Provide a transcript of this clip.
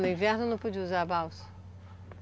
No inverno não podia usar balsa?